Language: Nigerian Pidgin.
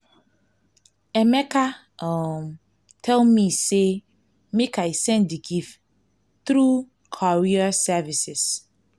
emeka um tell me say make i send the gift through courier services